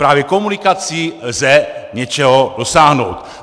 Právě komunikací lze něčeho dosáhnout."